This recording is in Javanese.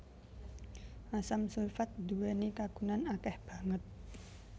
Asam sulfat nduwèni kagunan akèh banget